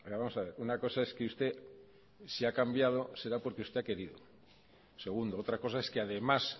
vamos a ver una cosa es que usted se ha cambiado será porque usted ha querido segundo otra cosa es que además